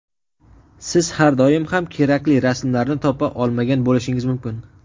siz har doim ham kerakli rasmlarni topa olmagan bo‘lishingiz mumkin.